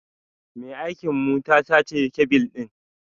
Mai aikin mu ta sace kebil ɗin.